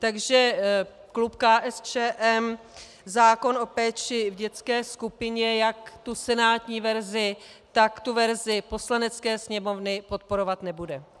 Takže klub KSČM zákon o péči v dětské skupině, jak tu senátní verzi, tak tu verzi Poslanecké sněmovny podporovat nebude.